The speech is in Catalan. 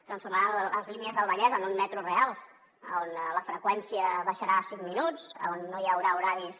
transformaran les línies del vallès en un metro real on la freqüència baixarà cinc minuts on no hi haurà horaris